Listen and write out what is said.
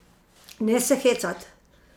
Ne se hecat!